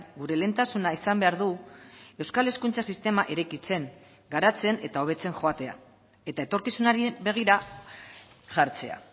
gure lehentasuna izan behar du euskal hezkuntza sistema eraikitzen garatzen eta hobetzen joatea eta etorkizunari begira jartzea